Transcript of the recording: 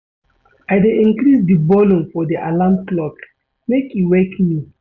I dey increase di volume of di alarm clock make e wake me.